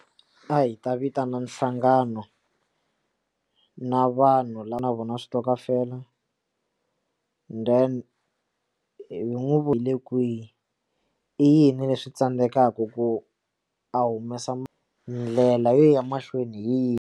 A hi ta vitana nhlangano na vanhu lava na vona switokofela then hi n'wi vonile kwihi i yini leswi tsandzekaka ku a humesa ndlela yo ya mahlweni hi yini.